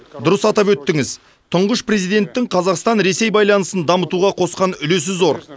дұрыс атап өттіңіз тұңғыш президенттің қазақстан ресей байланысын дамытуға қосқан үлесі зор